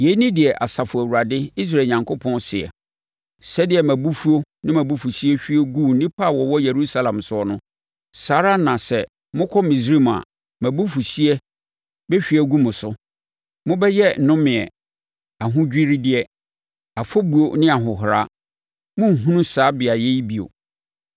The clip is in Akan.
Yei ne deɛ Asafo Awurade, Israel Onyankopɔn seɛ, ‘Sɛdeɛ mʼabufuo ne mʼabufuhyeɛ hwie guu nnipa a wɔwɔ Yerusalem soɔ no, saa ara na sɛ mokɔ Misraim a, mʼabufuhyeɛ bɛhwie agu mo so. Mobɛyɛ nnomedeɛ, ahodwiredeɛ, afɔbuo ne ahohora; morenhunu saa beaeɛ yi bio.’